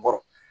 Bɔrɔ